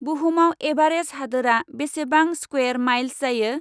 बुहुमाव एभारेज हादोरा बेसेबां स्क्वेर माइल्स जायो?